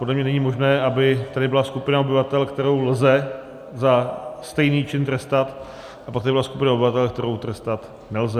Podle mě není možné, aby tady byla skupina obyvatel, kterou lze za stejný čin trestat, a pak tady byla skupina obyvatel, kterou trestat nelze.